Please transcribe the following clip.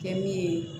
Kɛ min ye